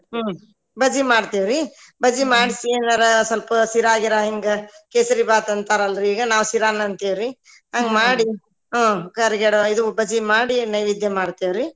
ಹ್ಮ್‌ ಬಜಿ ಮಾಡ್ತೇವ್ರಿ ಬಜಿ ಮಾಡ್ಸಿ ಏನಾರಾ ಸ್ವಲ್ಪ ಶಿರಾ ಗಿರಾ ಹಿಂಗ ಕೇಸರಿ ಬಾತ ಅಂತಾರ ಅಲ್ರಿ ಈಗ ನಾವ ಶಿರಾನ ಅಂತೇವ್ರಿ ಹಂಗ ಮಾಡಿ ಹ್ಮ್‌ ಕರಿಗಡಬ ಇದ ಬಜಿ ಮಾಡಿ ಎಡಿ ಮಾಡಿ ನೈವೇದ್ಯ ಮಾಡ್ತೇವ್ರಿ.